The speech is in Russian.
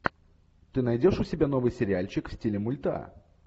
ты найдешь у себя новый сериальчик в стиле мульта